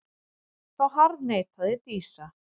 Þá harðneitaði Dísa.